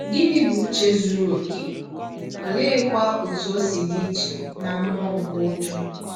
Gịnị bụ ụche zụrụ ọkè, ọleekwa ọtụ o si dị iche na mmụọ nke ụjọ?